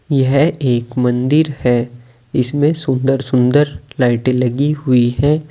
यह एक मंदिर है इसमें सुंदर सुंदर लाइटे लगी हुई है।